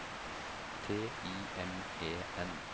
T I M E N